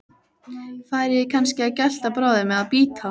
Færi ég kannski að gelta bráðum. eða bíta?